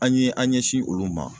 An ye an ɲɛsin olu ma